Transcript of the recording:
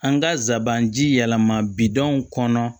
An ka sabanan ji yɛlɛma bidon kɔnɔ